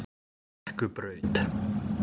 Brekkubraut